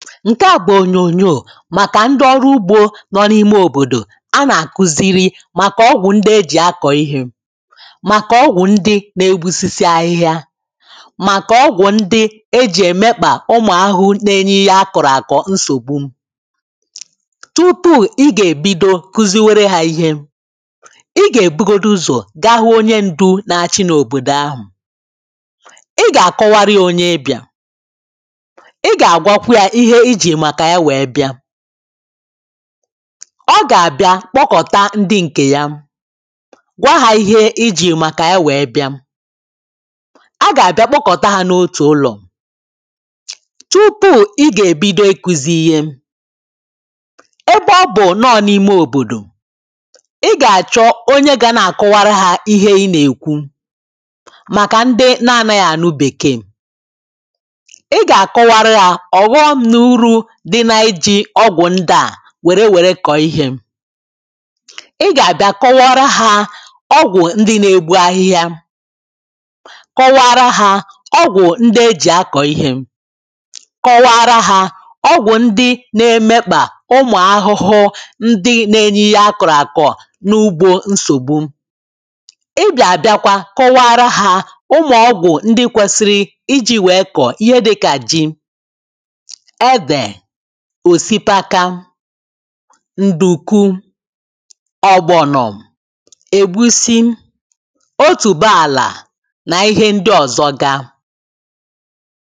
ǹke àgwà ònyònyò màkà ndị ọrụ ugbȯ nọ n’ime òbòdò a nà-àkuziri màkà ọgwụ̀ ndị e jì akọ̀ ihė màkà ọgwụ̀ ndị na-egbusisi ahịhịa màkà ọgwụ̀ ndị e jì èmekpà ụmụ̀ ahụhụ na-enye ya akọ̀rọ̀ àkọ̀ nsògbu tupu i gà-èbido kuzi were ha ihe i gà-èbugodi uzọ̀ gahụ onye ndu na-achị n’òbòdò ahụ̀ i gà-àkọwara ya onye ịbịà ọ gà-àbịa kpọkọ̀ta ndị ǹkè ya gwa hȧ ihe ijì màkà ya wèe bịa agà-àbịa kpọkọ̀ta hȧ n’otù ụlọ̀ tupu i gà-èbido iku̇zi̇ ihe ebe ọ bụ̀ n’ọ̀ n’ime òbòdò i gà-àchọ onye ga na-àkụwara hȧ ihe ị nà-èkwu màkà ndị na-anaghị ànụ bèkeè ịgà-àbịa kọwara ha ọgwụ ndị na-egbu ahịhịa kọwaara ha, ọgwụ ndị e ji akọ̀ ihė kọwara ha, ọgwụ ndị na-emekpà, umụ̀ arụrụ ndị na-enye ya akọ̀rọ̀akọ̀ n’ugbo nsògbu ịgà-àbịakwa, kọwaara ha ụmụ̀ ọgwụ ndị kwesiri iji̇ wee kọ̀ọ, ihe dịkà ji ǹdùku ọ̀gbọ̀nọ̀m ègbusị otùbaàlà nà ihe ndị ọ̀zọ ga